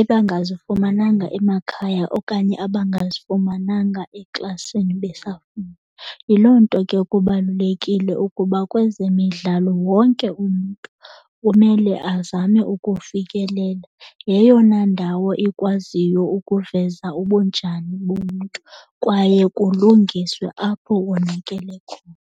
ebangazifumananga emakhaya okanye abangazifumananga eklasini besafunda. Yiloo nto ke kubalulekile ukuba kwezemidlalo wonke umntu kumele azame ukufikelela. Yeyona ndawo ikwaziyo ukuveza ubunjani bomntu kwaye kulungiswe apho konakele khona.